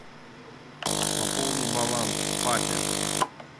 пополни баланс папе